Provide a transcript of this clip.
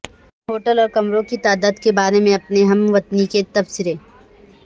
hotel اور کمروں کی تعداد کے بارے میں اپنے ہم وطنوں کے تبصرے